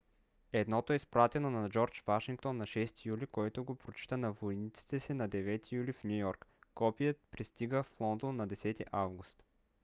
едното е изпратено на джордж вашингтон на 6 юли който го прочита на войниците си на 9 юли в ню йорк. копие пристига в лондон на 10 август